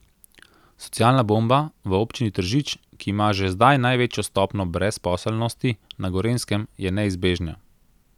Socialna bomba v občini Tržič, ki ima že zdaj največjo stopnjo brezposelnosti na Gorenjskem, je neizbežna.